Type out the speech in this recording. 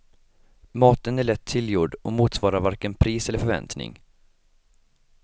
Maten är lätt tillgjord och motsvarar varken pris eller förväntning.